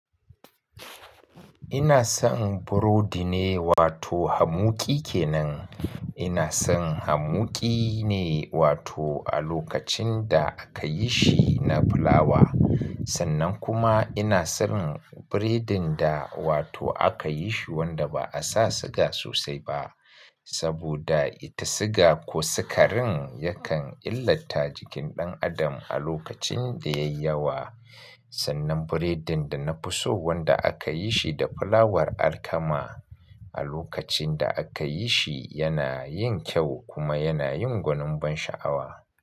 Ina son burodi ne wato hamuƙi kenan. Ina son hamuƙi ne wato a lokacin da aka yi shi na fulawa. Sannan kuma ina son biredin da wato aka yi shi wanda ba a sa siga sosai ba. Saboda ita siga ko sukarin yakan illata jikin ɗan adam a lokacin da yayi yawa. Sannan biredin da na fi so wanda aka yi shi da fulawar alkama. A lokacin da aka yi shi yana yin kyau kuma yana yin gwanin ban sha'awa.